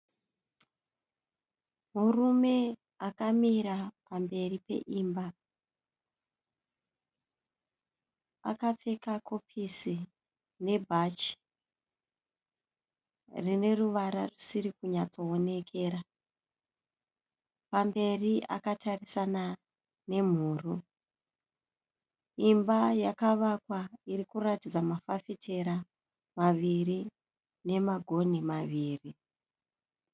Murume akamira pamberi peimba akapfeka kopisi nebhachi rine ruvara rusiri kunyatsoonekera, pamberi akatarisana nemhuru imba yakavakwa iri kuratidza mafafitera maviri nemagonhi maviri.